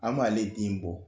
An b'ale den bɔ